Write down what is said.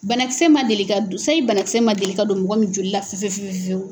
Banakisɛ ma deli ka don, sayi banakisɛ ma deli ka don mɔgɔ min joli la fiyewu.